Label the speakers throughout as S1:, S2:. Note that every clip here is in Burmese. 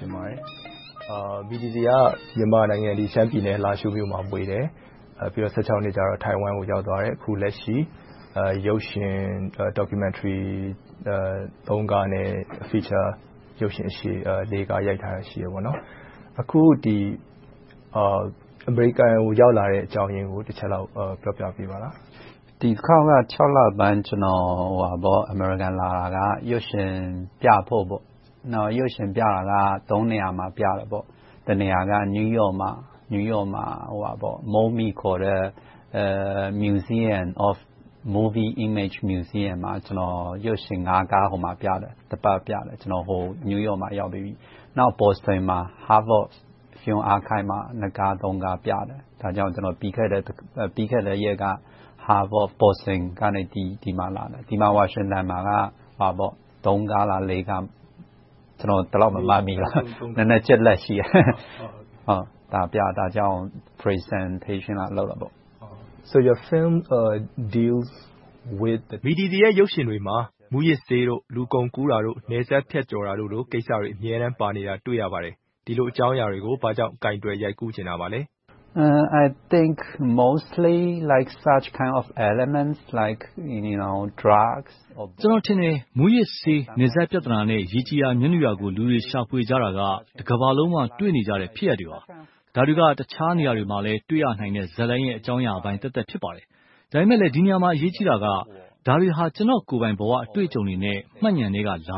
S1: တင်ပါတယ်။ Midi Z က မြန်မာနိုင်ငံ ရှမ်းပြည်နယ် လားရှိုးမြို့မှာ မွေးတယ်။ အသက် နှစ်မှာ ထိုင်ဝမ်နိုင်ငံကို ရောက်ရှိသွားခဲ့တယ်။ အခုလက်ရှိ ရုပ်ရှင်၊ Documentary ကားနဲ့ Feature ရုပ်ရှင်ကားရှည် ကား ရိုက်ထားတာရှိတယ်။ အခု အမေရိကန်ကို ရောက်လာခဲ့တဲ့အကြောင်းရင်းကို တချက်လောက် ပြောပြပါလား
S2: ။ ဖြေ ။ ။ ဒီတခေါက် လပိုင်း အမေရိကန်ကို လာရောက်တာက ရုပ်ရှင်ပြဖို့။ နေရာမှာ ပြမယ်။ တနေရာက New York မှာ။ အဲဒီမှာ Museum of Movie Image မှာ ရုပ်ရှင် ကားကို တပတ်ပြတယ်။ နောက် Boston Harvard Archive မှာ ကား ပြတယ်။ ဒါကြောင့် ပြီးခဲ့တဲ့အပတ်က Harvard, Boston ကနေ ဒီကို လာခဲ့တယ်။ ဝါရှင်တန်ဒီစီမှာ ကား ပြမယ်။ ဒါကြောင့် Presentation လာလုပ်တာပါ။
S1: မေး ။ ။ Midi Z ရဲ့ ရုပ်ရှင်တွေမှာ မူးယစ်ဆေး၊ လူကုန်ကူးတာတို့ နယ်စပ်ဖြတ်ကျော်တာတို့လို ပြသမှုတွေ အမြဲပါနေတာကို တွေ့ရပါတယ်။ ဒီလိုအကြောင်းအရာတွေကို ဘာကြောင့် ကိုင်တွယ်ရိုက်ကူးချင်တာပါလဲ။
S2: ဖြေ ။ ။ ကျနော်ထင်တယ်..
S3: မူးယစ်ဆေး၊ နယ်စပ်ပြဿနာနဲ့ ရေကြည်ရာ မြက်နုရာကို လူတွေရှာဖွေကြတာက တကမ္ဘာလုံးမှာ တွေ့နေရတဲ့ ဖြစ်ရပ်တွေပါ။ ဒါတွေက တခြားနေရာတွေမှာလည်း တွေ့ရနိုင်တဲ့ ဇာတ်လမ်းအကြောင်းအရာပိုင်းသက်သက် ဖြစ်ပါတယ်။ ဒါပေမဲ့လဲ ဒီနေရာမှာ အရေးကြီးတာက ဒါတွေက ကျနော့်ကိုယ်ပိုင် ဘဝအတွေ့အကြုံနဲ့ မှတ်ဉာဏ်ထဲကလာတာ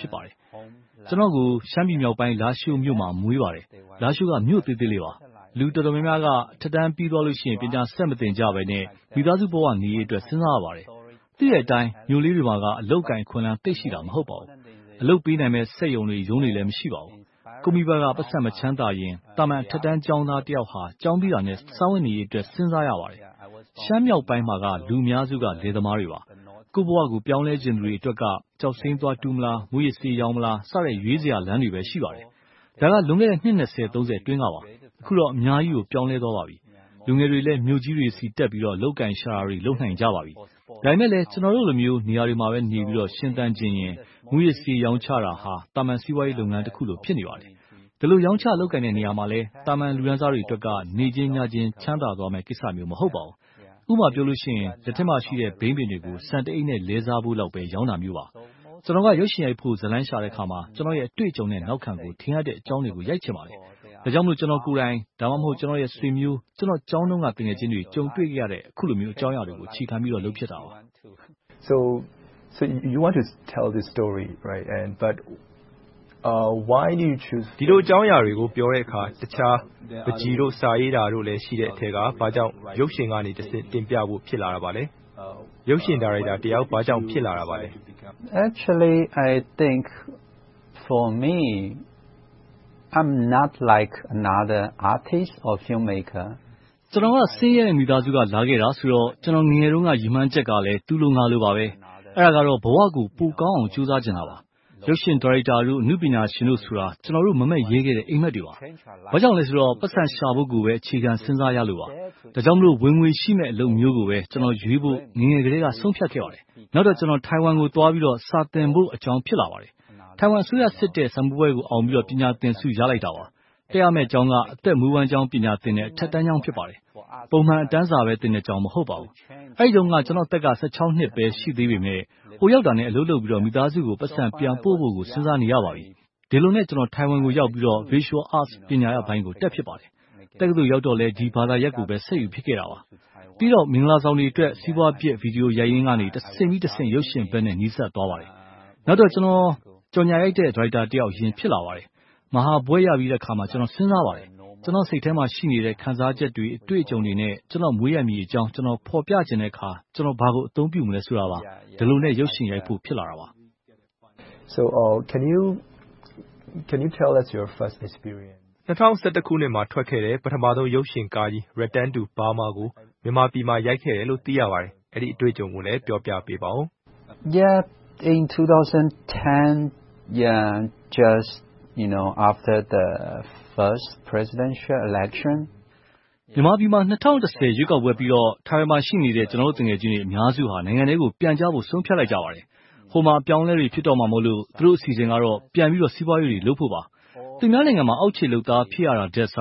S3: ဖြစ်ပါတယ်။ ကျနော်ကို ရှမ်းပြည်မြောက်ပိုင်း လားရှိုးမြို့မှာ မွေးပါတယ်။ လားရှိုးက မြို့သေးသေးလေးပါ။ လူတော်တော်များများက အထက်တန်းပြီးသွားတဲ့နောက် ပညာဆက်မသင်ကြဘဲနဲ့ မိသားစုဘဝအရေးအတွက် စဉ်းစားကြပါတယ်။ သိတဲ့အတိုင်း မြို့လေးတွေမှာက အလုပ်အကိုင် အခွင့်အလမ်း သိပ်ရှိတာ မဟုတ်ပါဘူး။ အလုပ်ပေးနိုင်မယ့် စက်ရုံတွေ၊ အလုပ်ရုံတွေလည်း သိပ်မရှိပါဘူး။ ကိုယ့်မိဘက ပိုက်ဆံမချမ်းသာရင် သာမန်အထက်တန်းကျောင်းသားတယောက်ဟာ ကျောင်းပြီးတာနဲ့ စားဝတ်နေရေးအတွက် စဉ်းစားရပါတယ်။ ရှမ်းမြောက်ပိုင်းမှာက လူအများစုက လယ်သမားတွေပါ။ ကိုယ့်ဘဝကို ပြောင်းလဲချင်သူတွေအတွက်က ကျောက်စိမ်းသွားတူးမလား။ မူးယစ်ဆေးရောင်းမလား စတဲ့လမ်းတွေပဲ ရှိပါတယ်။ ဒါက လွန်ခဲ့တဲ့ နှစ် အတွင်းကပါ။ အခုတော့ အများကြီးကို ပြောင်းလဲသွားပါပြီ။ လူငယ်တွေလည်း မြို့ကြီးတွေဆီတက်ပြီး အလုပ်အကိုင် ရှာတာတွေ လုပ်နိုင်ကြပါပြီ။ ဒါပေမဲ့လဲ ကျနော်တို့လို နေရာတွေမှာနေပြီး ရှင်သန်ချင်ရင် မူးယစ်ဆေးရောင်းချတာဟာ သာမန်စီးပွားရေးတခုလို ဖြစ်နေပါတယ်။ ဒီလို ရောင်းချလုပ်ကိုင်တဲ့ နေရာမှာလည်း သာမန်လူတန်းစားတွေအတွက်က နေချင်းညချင်း ချမ်းသာသွားမယ့်ကိစ္စမျိုး မဟုတ်ပါဘူး။ ဥပမာ လက်ထဲမှာရှိတဲ့ ဘိန်းပင်တွေကို ဆန်တအိတ်နဲ့ လဲစားဖို့လောက်ပဲ ရောင်းတာဖြစ်ပါတယ်။ ကျနော်က ရုပ်ရှင်ရိုက်ဖို့ ဇာတ်လမ်းရှာတဲ့အခါမှာ ကျနော့်ရဲ့ နောက်ခံနဲ့ အတွေ့အကြုံကို ထင်ဟပ်မယ့် အကြောင်းအရာတွေကို ရိုက်ချင်ပါတယ်။ ဒါကြောင့်မို့ ကျနော်ကိုယ်တိုင်၊ ဒါမှမဟုတ် ကျနော့်ဆွေမျိုး၊ ကျနော့်ကျောင်းတုန်းက သူငယ်ချင်းတွေ ကြုံတွေ့ခဲ့ရတဲ့ အခုလိုမျိုး အကြောင်းအရာတွေကို အခြေခံပြီးတော့ လုပ်ဖြစ်တာပါ။ မေး ။
S1: ။ ဒီလိုအကြောင်းအရာတွေကို ပြောတဲ့အခါ ဒါတွေကို ပန်းချီတို့၊ စာရေးတာတို့လည်း ရှိတဲ့အထဲက ဘာကြောင့် ရုပ်ရှင်ကနေတဆင့် တင်ပြဖို့ ဖြစ်လာခဲ့ပါလဲ။ ရုပ်ရှင်ဒါရိုက်တာတယောက် ဘာကြောင့် ဖြစ်လာခဲ့တာလဲ
S2: ။ ဖြေ ။ ။ ကျနော်က ဆ
S3: င်းရဲတဲ့ မိသားစုက လာခဲ့တာဆိုတော့ ကျနော် ငယ်ငယ်တုန်းက ရည်မှန်းချက်ကလည်း သူလိုငါလိုပါပဲ။ အဲဒါကတော့ ဘဝကို ပိုကောင်းအောင် ကြိုးစားချင်တာပါ။ ရုပ်ရှင်ဒါရိုက်တာတို့၊ အနုပညာရှင်တို့ဆိုတာ ကျနော်တို့ မမက်ရဲခဲ့တဲ့ အိပ်မက်တွေပါ။ ဘာကြောင့်လဲဆိုတော့ ပိုက်ဆံရှာဖို့ကိုပဲ အခြေခံစဉ်းစားရလို့ပါ။ ဒါကြောင့်မို့ ဝင်ငွေရှိမယ့် အလုပ်မျိုးကိုပဲ ကျနော်ငယ်ငယ်ကတည်းက ဆုံးဖြတ်ခဲ့ပါတယ်။ နောက်တော့ ထိုင်ဝမ်ကိုသွားပြီး စာသင်ဖို့ အကြောင်း ဖြစ်လာပါတယ်။ ထိုင်ဝမ်အစိုးရစစ်တဲ့ စာမေးပွဲကို အောင်ပြီးတော့ ပညာတော်သင်ဆု ရလိုက်တာပါ။ တက်ရမယ့်ကျောင်းက အသက်မွေးဝမ်းကြောင်း ပညာသင်တဲ့ အထက်တန်းကျောင်း ဖြစ်ပါတယ်။ ပုံမှန်အတန်းစာပဲသင်တဲ့ ကျောင်းမဟုတ်ပါဘူး။ အဲဒီတုန်းက ကျနော့်အသက်က နှစ်ပဲ ရှိသေးပေမယ့် ဟိုရောက်တာနဲ့ အလုပ်လုပ်ပြီး မိသားစုကို ပိုက်ဆံပြန်ပို့ဖို့ကို စဉ်းစားနေရပါပြီ။ ဒီလိုနဲ့ ထိုင်ဝမ်ကို ရောက်ပြီးတော့ Visual Arts ပညာရပ်ပိုင်းကို တက်ဖြစ်ပါတယ်။ တက္ကသိုလ်ရောက်တော့လည်း ဒီဘာသာရပ်ကိုပဲ ဆက်ယူဖြစ်ခဲ့တာပါ။ ပြီးတော့ မင်္ဂလာဆောင်တွေအတွက် စီးပွားဖြစ် ဗီဒီယိုရိုက်ပြီးတော့ တဆင့်ပြီးတဆင့် ရုပ်ရှင်ဘက်နဲ့ နီးစပ်သွားပါတယ်။ နောက်တော့ ကြော်ငြာရိုက်တဲ့ ဒါရိုက်တာတယောက် အရင် ဖြစ်လာခဲ့ပါတယ်။ မဟာဘွဲ့ရပြီးတဲ့အခါမှာ စဉ်းစားပါတယ်။ ကျနော်စိတ်ထဲမှာရှိတဲ့ ခံစားချက်တွေ၊ အတွေ့အကြုံတွေနဲ့ ကျနော့်မွေးရပ်မြေအကြောင်း ကျနော် ဖော်ပြချင်တဲ့အခါ ကျနော်ဘာကို အသုံးပြုမလဲဆိုတာပါ။ ဒီလိုနဲ့ ရုပ်ရှင်
S1: ရိုက်ဖို့ ဖြစ်လာခဲ့တာပါ။ မေး ။ ။ ၂၀၁၁ ခုနှစ်မှာ ထွက်ခဲ့တဲ့ ပထမဦးဆုံး ရုပ်ရှင်ကားကြီး Return to Burma ကို မြန်မာပြည်မှာ ရိုက်ခဲ့တယ်လို့ သိရပါတယ်။ အဲဒီအတွေ့အကြုံကိုလည်း ပြောပြပေးပါအုံး။
S2: ဖြေ ။ ။ မြန်မာပြည်မှာ ၂၀
S3: ၁၀ ပထမအကြိမ် ရွေးကောက်ပွဲပြီးတော့ ထိုင်ဝမ်မှာ ရှိနေတဲ့ ကျနော်တို့သူငယ်ချင်းတွေ အများစုက နိုင်ငံထဲကို ပြန်ကြဖို့ ဆုံးဖြတ်လိုက်ကြပါတယ်။ ဟိုမှာ အပြောင်းအလဲတွေ ဖြစ်တော့မှာမို့ သူတို့အစီအစဉ်ကတော့ ပြန်ပြီးတော့ စီးပွားရေးတွေ လုပ်ကြဖို့ပါ။ သူများနိုင်ငံမှာ အောက်ခြေလုပ်သား ဖြစ်ရတာထက်၊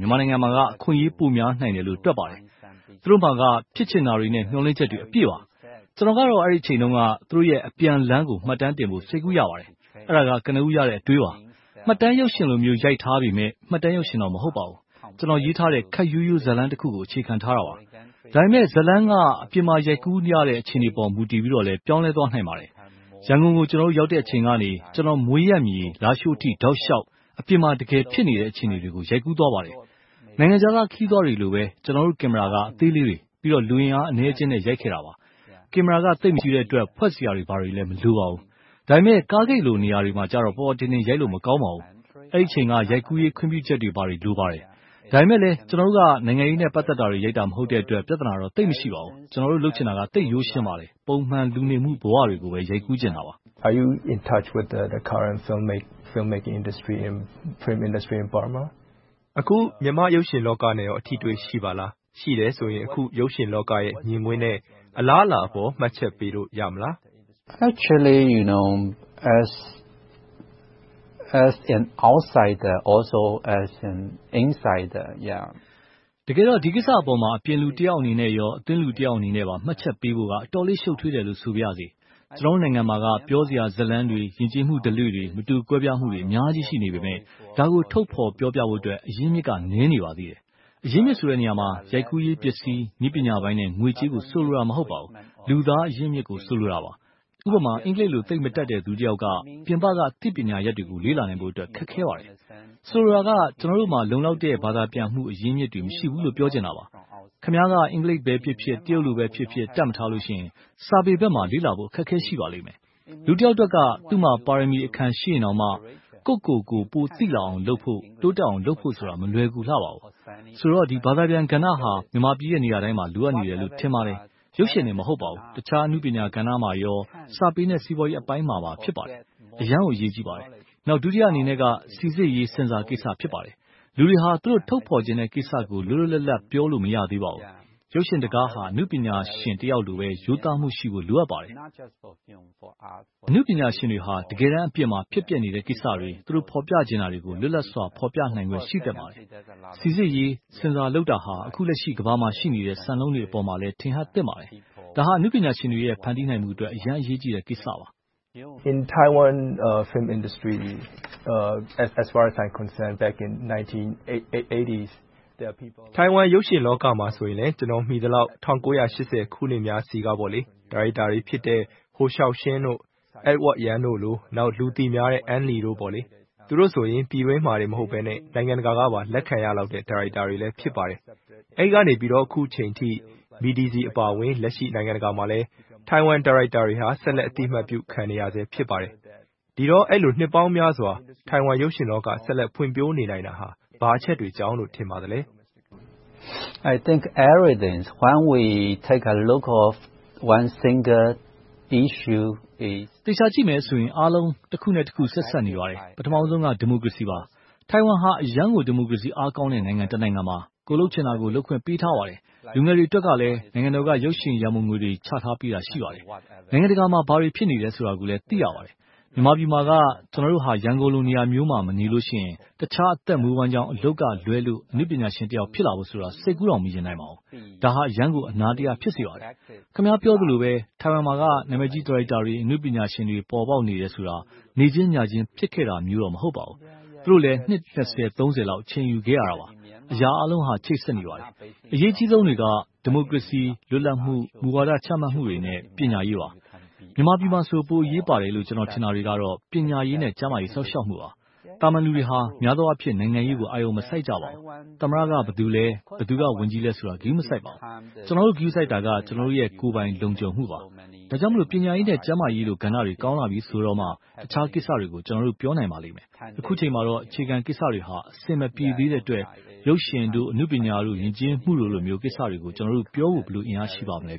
S3: မြန်မာနိုင်ငံမှာက အခွင့်အရေး ပိုများနိုင်တယ်လို့ တွက်ပါတယ်။ သူတို့မှာက ဖြစ်ချင်တာတွေနဲ့ မျှော်လင့်ချက်တွေ အပြည့်ပါ။ ကျနော်ကတော့ အဲဒီအချိန်တုန်းက သူတို့ရဲ့ အပြန်လမ်းကို မှတ်တမ်းတင်ဖို့ စိတ်ကူးရပါတယ်။ အဲဒါက ကနဦးရတဲ့အတွေးပါ။ မှတ်တမ်းရုပ်ရှင်လို့ ရိုက်ထားပေမယ့် မှတ်တမ်းရုပ်ရှင်တော့ မဟုတ်ပါဘူး။ ကျနော် ရေးထားတဲ့ ခပ်ရိုးရိုးဇာတ်လမ်းတခုကို အခြေခံထားတာပါ။ ဒါပေမဲ့ ဇာတ်လမ်းက အပြင်မှာ ရိုက်ကူးရတဲ့ အခြေအနေပေါ် မူတည်ပြီးတော့ ပြောင်းလဲသွားနိုင်ပါတယ်။ ရန်ကုန်ကို ရောက်တဲ့အခြေအနေကနေ ကျနော့်မွေးရပ်မြေ လားရှိုးအထိ တောက်လျှောက် အပြင်မှာ တကယ်ဖြစ်နေတဲ့ အခြေအနေတွေကို ရိုက်ကူးသွားပါတယ်။ နိုင်ငံခြားသား ခရီးသွားတွေလိုပဲ ကျနော်တို့ ကင်မရာက အသေးလေးတွေ၊ ပြီးတော့ လူအင်အားအနည်းအကျင်းနဲ့ ရိုက်ခဲ့တာပါ။ ကင်မရာက သိပ်မကြီးတဲ့အတွက် ဖွက်စရာတွေလည်း မလိုပါဘူး။ ဒါပေမဲ့ ကားဂိတ်လို နေရာတွေမှာတော့ ပေါ်ပေါ်တင်တင် ရိုက်လို့မကောင်းပါဘူး။ အဲဒီအချိန်က ရိုက်ကူးရေး ခွင့်ပြုချက်တွေ လိုပါတယ်။ ဒါပေမဲ့လဲ ကျနော်တို့က နိုင်ငံရေးနဲ့ ပတ်သက်တာတွေ ရိုက်တာ မဟုတ်တဲ့အတွက် ပြဿနာတော့ သိပ်မရှိပါဘူး။ ကျနော်တို့ လုပ်ချင်တာက သိပ်ရိုးရှင်းပါတယ်။ ပုံမှန်လူနေမှု ဘဝတွေကိုပ
S1: ဲ ရိုက်ကူးချင်တာပါ။ မေး ။ ။ အခု မြန်မာ့ရုပ်ရှင်လောကနဲ့ကော အထိအတွေ့ ရှိပါလား။ ရှိတယ်ဆိုရင် အခု ရုပ်ရှင်လောကရဲ့ မြင်ကွင်းနဲ့ အလားအလာအပေါ် မှတ်ချက်ပေးလို့ရမလား
S2: ။ ဖြေ ။ ။ တကယ်တော့ ဒီကိစ္စအပေါ် အပြ
S3: င်လူတယောက်အနေနဲ့၊ အတွင်းလူတယောက်အနေနဲ့ မှတ်ချက်ပေးဖို့က အတော်လေး ရှုပ်ထွေးတယ်လို့ ဆိုပါရစေ။ ကျနော်တို့ နိုင်ငံမှာက ပြောစရာဇာတ်လမ်းတွေ၊ ယဉ်ကျေးမှုဓလေ့ မတူကွဲပြားမှုတွေ အများကြီး ရှိနေပေမယ့်၊ ဒါကို ထုတ်ဖော်ပြောပြဖို့အတွက် အရင်းအမြစ်က နည်းနေပါသေးတယ်။ အရင်းအမြစ်ဆိုတဲ့နေရာမှာ ရိုက်ကူးရေး၊ ပြင်ဆင်ရေး၊ နည်းပညာပိုင်းနဲ့ ငွေကြေးကို ဆိုလိုတာ မဟုတ်ပါဘူး။ လူသားအရင်းအမြစ်ကို ဆိုလိုတာပါ။ ဥပမာ အင်္ဂလိပ်လို သိပ်မတတ်တဲ့ လူတယောက်က ပြင်ပက အသိပညာရပ်တွေကို လေ့လာနိုင်ဖို့အတွက် ခက်ခဲပါတယ်။ ဆိုလိုတာက ကျနော်တို့မှာ လုံလောက်တဲ့ ဘာသာပြန်မှု အရင်းအမြစ်တွေ မရှိဘူးလို့ ပြောချင်တာပါ။ ခင်များက အင်္ဂလိပ်လိုဖြစ်ဖြစ်၊ တရုတ်လိုဖြစ်ဖြစ် တတ်မထားလို့ရှိရင် စာပေဘက်မှာ လေ့လာဖို့ အခက်အခဲ ရှိပါလိမ့်မယ်။ လူတယောက်အတွက်က သူ့မှာ ပါရမီအခံ ရှိနေရင်တောင်မှ ကိုယ့်ကိုယ်ကိုယ် ပိုသိလာအောင်လုပ်ဖို့၊ တိုးတက်အောင်လုပ်ဖို့ဆိုတာ မလွယ်ကူလှပါဘူး။ ဆိုတော့ ဘာသာပြန်ကဏ္ဍဟာ မြန်မာပြည်ရဲ့ နေရာတိုင်းမှာ လိုအပ်နေတယ်လို့ ထင်ပါတယ်။ ရုပ်ရှင်တင် မဟုတ်ပါဘူး။ တခြားအနုပညာကဏ္ဍနဲ့ စာပေနဲ့ စီးပွားရေးအပိုင်းမှာလည်း ဖြစ်ပါတယ်။ အရမ်းကို အရေးကြီးပါတယ်။ ဒုတိယအနေနဲ့ စီစစ်ရေး ဆင်ဆာကိစ္စ ဖြစ်ပါတယ်။ လူတွေက သူတို့ထုတ်ဖော်ပြသချင်တဲ့ကိစ္စကို လွတ်လွတ်လပ်လပ် ပြောလို့ မရသေးပါဘူး။ ရုပ်ရှင်တကားက အနုပညာရှင်တယောက်လို ရိုးသားမှုရှိဖို့ လိုအပ်ပါတယ်။ အနုပညာရှင်တွေဟာ တကယ်တမ်းအပြင်မှာ ဖြစ်ပျက်နေတဲ့ကိစ္စတွေ၊ သူတို့ဖော်ပြချင်တာတွေကို လွတ်လပ်စွာ ဖော်ပြနိုင်ခွင့် ရှိသင့်ပါတယ်။ စီစစ်ရေး ဆင်ဆာလုပ်တာဟာ အခုလက်ရှိ ကမ္ဘာမှာရှိနေတဲ့ စံနှုန်းတွေပေါ်မှာလည်း ထင်ဟပ်သင့်ပါတယ်။ ဒါဟာ အနုပညာရှင်တွေရဲ့ ဖန်တီးနိုင်မှုအတွက် အရမ်းအရေးကြီးတဲ့ကိစ
S1: ္စပါ။ မေး ။ ။ ထိုင်ဝမ်ရုပ်ရှင်လောကမှာဆိုရင်လဲ ကျနော် သိသလောက် ၁၉၈၀ ခုနှစ်များဆီက ဒါရိုက်တာတွေဖြစ်တဲ့ ဟိုရှောက်ရှင်၊ အိုက်ဝိုက်ယန်တို့လို နောက်လူသိများတဲ့ အန်လီတို့ဆိုရင် ပြည်တွင်းမှာတင်မက နိုင်ငံတကာကပါ လက်ခံရလောက်တဲ့ ဒါရိုက်တာတွေ ဖြစ်ပါတယ်။ အဲဒီကနေ အခုအချိန်အထိ Midi Z အပါအဝင် လက်ရှိ နိုင်ငံတကာမှာလည်း ထိုင်ဝမ်ဒါရိုက်တာတွေက ဆက်လက်အသိအမှတ်ပြုခံနေရဆဲ ဖြစ်ပါတယ်။ ဒီတော့ အဲဒီလို နှစ်ပေါင်းများစွာ ထိုင်ဝမ်ရုပ်ရှင်လောက ဖွံ့ဖြိုးနိုင်နေတာ ဘာအချက်တွေကြောင့်လို့ ထင်ပါလဲ။
S2: ဖြေ ။
S3: ။ သေချာကြည့်မယ်ဆိုရင် အားလုံးတခုနဲ့တခု ဆက်စပ်နေပါတယ်။ ပထမဦးဆုံးက ဒီမိုကရေစီပါ။ ထိုင်ဝမ်ဟာ အရမ်းကို ဒီမိုကရေစီ အားကောင်းတဲ့ နိုင်ငံတနိုင်ငံပါ။ ကိုယ်လုပ်ချင်တာကို လုပ်ခွင့်ပေးထားပါတယ်။ လူငယ်တွေအတွက်လည်း နိုင်ငံတော်က ရုပ်ရှင်ရန်ပုံငွေတွေ ချထားပေးတာ ရှိပါတယ်။ နိုင်ငံတကာမှာ ဘာတွေ ဖြစ်နေတယ်ဆိုတာကိုလည်း သိရပါတယ်။ မြန်မာပြည်မှာက ကျနော်တို့က ရန်ကုန်လို နေရာမျိုးမှာ မနေလို့ရှိရင် တခြားအသက်မွေးဝမ်းကျောင်း အလုပ်ကလွဲလို့ အနုပညာရှင် ဖြစ်လာဖို့ စိတ်ကူးတောင် မယဉ်နိုင်ပါဘူး။ ဒါဟာ အရမ်းကို အနာတရ ဖြစ်စေပါတယ်။ ခင်များ ပြောသလိုပဲ ထိုင်ဝမ်မှာက နာမည်ကြီးဒါရိုက်တာတွေ၊ အနုပညာရှင်တွေ ပေါ်ပေါက်နေတယ်ဆိုတာ နေ့ချင်းညချင်း ဖြစ်ခဲ့တာမျိုးတော့ မဟုတ်ပါဘူး။ သူတို့လည်း နှစ် လောက် အချိန်ယူခဲ့ရတာပါ။ အရာအားလုံးက ချိတ်ဆက်နေပါတယ်။ အရေးအကြီးဆုံးတွေက ဒီမိုကရေစီ လွတ်လပ်မှု မူဝါဒ ချမှတ်မှုတွေနဲ့ ပညာရေးပါ။ မြန်မာပြည်မှာဆို ပိုအရေးပါတယ်လို့ ကျနော်ထင်တာတွေကတော့ ပညာရေးနဲ့ ကျန်းမာရေး စောင့်ရှောက်မှုပါ။ သာမန်လူတွေဟာ များသောအားဖြင့် နိုင်ငံရေးကို အာရုံမစိုက်ကြပါဘူး။ သမ္မတက ဘယ်သူလဲ။ ဝန်ကြီးချုပ်က ဘယ်သူလဲဆိုတာ ဂရုမစိုက်ပါဘူး။ ကျနော်တို့ ဂရုစိုက်တာက ကျနော်တို့ရဲ့ ကိုယ်ပိုင် လုံခြုံမှုပါ။ ဒါကြောင့်မို့ ပညာရေး နဲ့ ကျန်းမာရေးကဏ္ဍတွေ ကောင်းလာပြီဆိုတော့မှ အခြားကိစ္စတွေကို ပြောနိုင်ပါလိမ့်မယ်။ အခုအချိန်မှာတော့ အခြေခံကိစ္စတွေဟာ အဆင်မပြေသေးတဲ့အတွက် ရုပ်ရှင်တို့၊ အနုပညာတို့၊ ယဉ်ကျေးမှုတို့လို ကိစ္စတွေကို ကျနော်တို့ပြောဖို့ ဘယ်လိုအင်အားရှိပါ့မလဲ